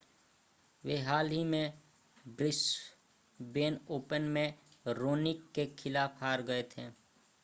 वे हाल ही में ब्रिस्बेन ओपन में रोनिक के खिलाफ हार गए थे